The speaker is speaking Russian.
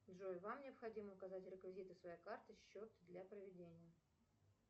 джой вам необходимо указать реквизиты своей карты счет для проведения